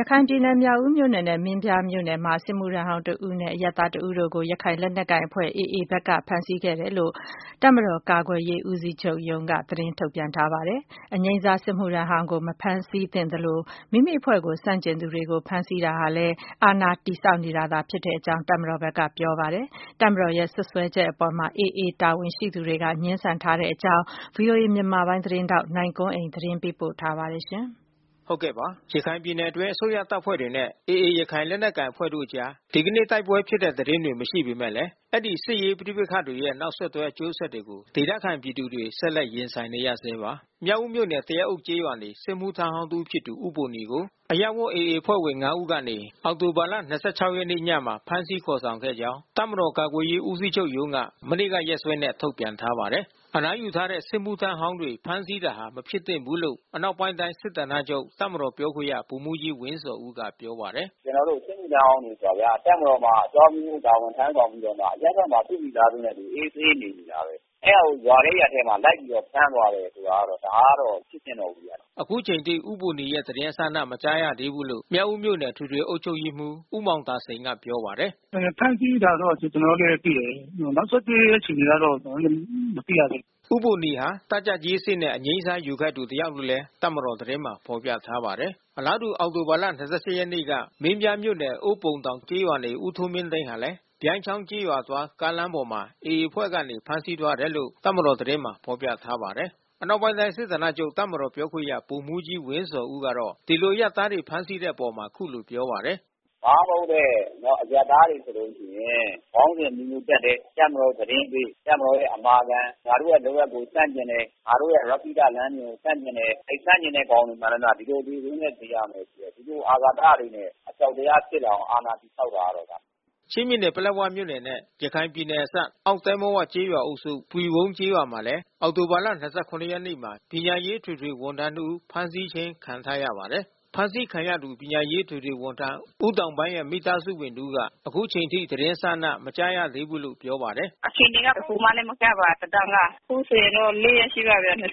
ရခိုင်ပြည်နယ်၊ မြောက်ဦးမြို့နယ်နဲ့ မင်းပြားမြို့နယ်မှာ စစ်မှုထမ်းဟောင်း တဦး အပါဝင် အရပ်သား တဦးကို ရခိုင်လက်နက်ကိုင် AA ဘက်က ဖမ်းဆီးခဲ့တယ်လို့ တပ်မတော် ကာကွယ်ရေးဦးစီးချုပ်ရုံးကနေ သတင်းထုတ်ပြန်ထားပါတယ်။ အနားယူထားတဲ့ စစ်မှုထမ်းဟောင်းကို ဖမ်းဆီးတာမဖြစ်သင့်သလို မိမိအဖွဲ့ကိုဆန့်ကျင်သူတွေကို ဖမ်းဆီးတာဟာ အာဏာ တည်ဆောက်နေတာလို့လည်း တပ်မတော်ဘက်က ဆိုပါတယ်။ တပ်မတော်ရဲ့စွပ်စွဲချက်အပေါ် AA တာဝန်ရှိသူတွေက ငြင်းဆန်ထားပါတယ်။ ဗွီအိုအေမြန်မာပိုင်းသတင်းထောက် နိုင်ကွန်းအိန်ကနေ သတင်းပေးပို့ထားပါတယ်။ ရခိုင်ပြည်နယ်အတွင်း အစိုးရတပ်ဖွဲ့တွေနဲ့ AA ရခိုင်လက်နက်ကိုင်အဖွဲ့တို့အကြား ဒီကနေ့ တိုက်ပွဲဖြစ်တဲ့သတင်း တွေ မရှိပေမယ့်လည်း အဲဒီ စစ်ရေးပဋိပက္ခတွေရဲ့ နောက်ဆက်တွဲ အကျိုးဆက်တွေကို ဒေသခံပြည်သူတွေ ဆက်လက် ရင်ဆိုင်နေကြရဆဲပါ။ မြောက်ဦးမြို့နယ် သရက်အုပ်ကျေးရွာနေ စစ်မှုထမ်းဟောင်း တဦးဖြစ်သူ ဦးဘိုနီကို အရပ်ဝတ် AA အဖွဲ့ဝင် ၅ ဦး ကနေ အောက်တိုဘာ ၂၆ ရက်နေ့ညမှာ ဖမ်းဆီးခေါ်ဆောင်ခဲ့ကြောင်း တပ်မတော်ကာကွယ်ရေးဦးစီးချုပ်ရုံးက မနေ့က ရက်စွဲနဲ့ ထုတ်ပြန်ထားပါတယ်။ အနားယူထားတဲ့ စစ်မှုထမ်းဟောင်းတွေ ဖမ်းဆီးတာဟာ မဖြစ်သင့်ဘူးလို့ အနောက်ပိုင်းတိုင်းစစ်ဌာနချုပ် တပ်မတော်ပြောခွင့်ရ ဗိုလ်မှူးကြီးဝင်းဇော်ဦးက ပြောပါတယ်။။ “ကျနော်တို့ စစ်မှုထမ်းဟောင်းဆိုတာဗျာ တပ်မတော်မှာ အကြောင်းအမျိုးမျိုး တာဝန်ထမ်းဆောင်ပြီးတော့မှ အရပ်ဘက်မှာ သူမိသားစုနဲ့အတူ အေးအေးဆေးဆေးနေနေတာပဲ။ အဲတာကို ရွာထဲရပ်ထဲမှာ ဖမ်းသွားတယ်ဆိုတာက ဒါကတော့ မဖြစ်သင့်တော့ဘူးဗျာ။” အခုချိန်ထိ ဦးဘိုနီရဲ့သတင်းအစအန မကြားသေးဘူးလို့ မြောက်ဦးမြို့နယ် အထွေထွေအုပ်ချုပ်ရေးမှူး ဦးမောင်သာစိန်က ပြောပါတယ်။ “ဖမ်းဆီးတာတော့ ကျနော်တို့လည်းသိတယ်။ နောက်ဆက်တွဲ အခြေအနေကတော့ ကျနော်တို့လည်း မသိရသေးဘူး။” ဦးဘိုနီဟာ တပ်ကြပ်ကြီးအဆင့်နဲ့ အငြိမ်းစားယူခဲ့သူ တယောက်လို့ တပ်မတော်သတင်းမှာ ဖေါ်ပြထားပါတယ်။ အလားတူ အောက်တိုဘာ ၂၈ ရက်နေ့က မင်းပြားမြို့နယ်၊ အိုးပုံတောင်ကျေးရွာနေ ဦးထွန်းမင်းသိန်းဟာလည်း ပြိုင်းချောင်းကျေးရွာသွား ကားလမ်းပေါ်မှာ AA အဖွဲ့က ဖမ်းဆီးသွားတယ်လို့ တပ်မတော်သတင်းမှာ ဖေါ်ပြပါတယ်။ အနောက်ပိုင်းတိုင်းစစ်ဌာနချုပ် တပ်မတော်ပြောခွင့်ရဗိုလ်မှူးကြီးဝင်းဇော်ဦးကတော့ ဒီလိုအရပ်သားတွေ ဖမ်းဆီးတဲ့ လုပ်ရပ်အပေါ် အခုလိုပြောပါတယ်။ “ဘာမှမဟုတ်တဲ့ အရပ်သားတွေဆိုလို့ရှိရင် ခေါင်းစဉ်အမျိုးမျိုး တပ်တယ်။ တပ်မတော်သတင်းပေး တပ်မတော်ရဲ့ အမာခံ ငါတို့ရဲ့လုပ်ရပ်ကို ဆန့်ကျင်တယ်။ ငါတို့ရဲ့ရက္ခိတလမ်းစဉ်ကို ဆန့်ကျင်တယ်။ အဲဒီလိုဆန့်ကျင်တဲ့ကောင်တွေ မှန်သမျှ ဒီလိုအသေဆိုးနဲ့ သေရမယ်။ ဒီလိုအာဃာတတွေနဲ့ အကြောက်တရားဖြစ်လာအောင် အာဏာတည် ဆောက်တာပဲဒါ။" ချင်းပြည်နယ် ပလက်ဝမြို့နယ်နဲ့ ရခိုင်ပြည်နယ်နယ်စပ် အောက်သဲမဝကျေးရွာအုပ်စု ပွီဝုန်းကျေးရွာမှာလည်း အောက်တိုဘာ ၂၇ရက်နေ့မှာ ပညာရေးအထွေထွေ ဝန်ထမ်း တဦး ဖမ်းဆီးခြင်းခံထားရပါတယ်။ အဖမ်းခံရသူ ပညာရေးအထွေထွေဝန်ထမ်း ဦးတောင်ပန်းရဲ့ မိသားစုဝင်တဦးက အခုချိန်ထိသတင်းအစအန မကြားရသေးဘူးလို့ ပြောပါတယ်။ “အခြေအနေက တခုမှလည်း မကြားပါ သတင်းက။ အခုဆိုရင် ၄ ရက်ရှိပါပြီ… ၂၇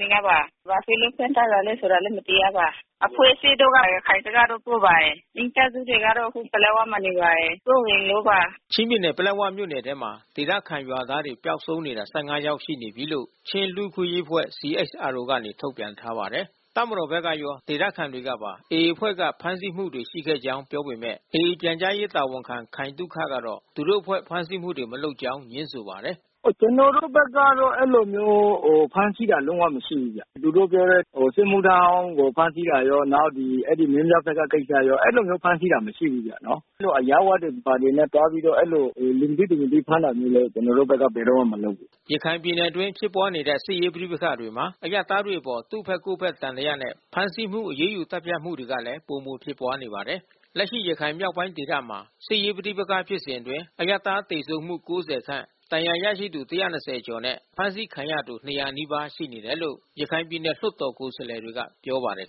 နေ့ကပါ။ ဘာဖြစ်လို့ ဖမ်းထားတာလည်းဆိုတာ မသိရပါ။ အဖွဲ့အစည်းတို့က ရခိုင်ဘက်ကလို့ ဆိုပါတယ်။ မိသားစုတွေကတော့ အခုပလက်ဝမှာနေပါတယ်။ စိုးရိမ်လို့ပါ။” ချင်းပြည်နယ် ပလက်ဝမြို့နယ်ထဲမှာ ဒေသခံရွာသားတွေ ပျောက်ဆုံးနေတာ ၁၅ ယောက်ရှိပြီလို့ ချင်းလူ့အခွင့်ရေးအဖွဲ့ CHRO က ထုတ်ပြန်ထားပါတယ်။ တပ်မတော်ဘက်ကရော ဒေသခံတွေကပါ AA အဖွဲ့က ဖမ်းဆီးမှုတွေရှိခဲ့ကြောင်း ပြောပေမဲ့ AA ပြန်ကြားရေးတာဝန်ခံ ခိုင်သုခ ကတော့ သူတို့အဖွဲ့ဖမ်းဆီးမှုတွေ မလုပ်ကြောင်းငြင်းဆိုပါတယ်။ “ကျနော်တို့ဘက်ကတော့ အဲဒီလိုမျိုး ဖမ်းဆီးတာတော့ မရှိဘူးဗျ။ သူတို့ပြောတဲ့ စစ်မှုထမ်းဟောင်းကို ဖမ်းဆီးတာရော နောက်ဒီမင်းပြားဘက်က ကိစ္စရော အဲဒီလိုမျိုး ဖမ်းဆီးတာတော့ မရှိဘူးဗျနော်။ အဲဒီလိုအရပ်ဝတ်တွေနဲ့ ဘာတွေနဲ့သွားပြီး အဲဒီလို လူမသိ၊ သူမသိဖမ်းတာမျိုးလည်း ကျနော်တို့ဘက်က ဘယ်တော့မှ မလုပ်ဘူး။” ရခိုင်ပြည်နယ်အတွင်း ဖြစ်ပွားနေတဲ့ စစ်ရေးပဋိပက္ခမှာ အရပ်သားတွေအပေါ် သူ့ဘက်ကိုယ့်ဘက် သံသယနဲ့ ဖမ်းဆီးမှု အရေးယူသတ်ဖြတ်မှုတွေကလည်း ပိုမိုဖြစ်ပွားနေပါတယ်။ လက်ရှိ ရခိုင်မြောက်ပိုင်းဒေသမှာ စစ်ရေးပဋိပက္ခဖြစ်စဉ်အတွင်း အရပ်သားသေဆုံးမှု ၉၀ ခန့် ဒဏ်ရာရသူ၁၂၀ကျော်နဲ့ အဖမ်းဆီးခံရသူ ၂၀၀ နီးပါး ရှိနေတယ်လို့ ရခိုင်ပြည်နယ်လွှတ်တော် ကိုယ်စားလှယ်တွေက ပြောပါတယ်